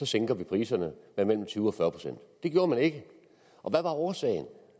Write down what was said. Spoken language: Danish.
sænker vi priserne med mellem tyve og fyrre procent det gjorde man ikke og hvad var årsagen